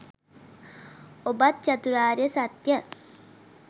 ඔබත් චතුරාර්ය සත්‍යය